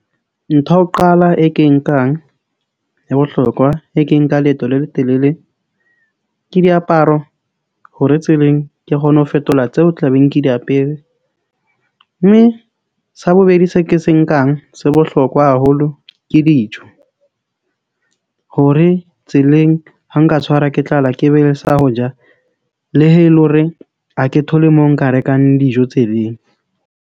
Ntho ya ho qala e ke e nkang ya bohlokwa e ke nka leeto le letelele ke diaparo hore tseleng, ke kgone ho fetola tseo tla beng ke di apere. Mme sa bobedi, se ke se nkang sa bohlokwa haholo ke dijo hore tseleng ha nka tshwarwa ke tlala, ke be le sa ho ja, le he e le horeng ha ke thole moo nka rekang dijo tseleng.